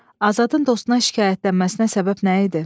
Azadın dostuna şikayətlənməsinə səbəb nə idi?